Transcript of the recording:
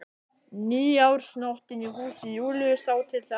Nýársnóttin í húsi Júlíu sá til þess.